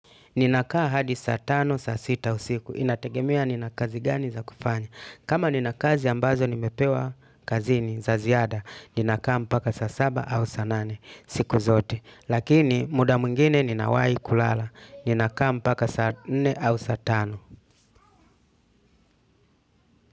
Ninakaa hadi saa tano, saa sita usiku. Inategemea nina kazi gani za kufanya. Kama nina kazi ambazo nimepewa kazini za ziada. Ninakaa mpaka saa saba au saa nane siku zote. Lakini muda mwingine ninawahi kulala. Ninakaa mpaka saa nne au saa tano.